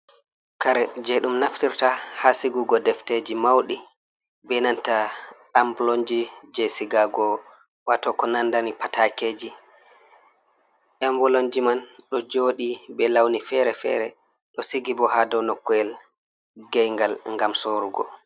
Kare je ɗum naftirta ha sigugo defteji mauɗi be nanta amblonji je sigago wato ko nandani patakeji emboloji, man ɗo jodi be lawni fere-fere ɗo sigibo ha dow noku’el gayngal gam sorugo.